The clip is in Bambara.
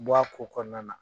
bɔ a ko kɔnɔna na.